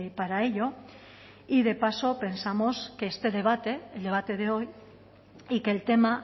para ello y de paso pensamos que este debate el debate de hoy y que el tema